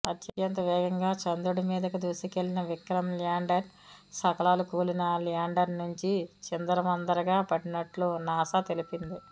అత్యంతవేగంగా చంద్రుడి మీదకు దూసుకెళ్లిన విక్రమ్ ల్యాండర్ శకలాలు కూలిన ల్యాండర్ నుంచి చిందరవందరగా పడినట్లు నాసా తెలిపింది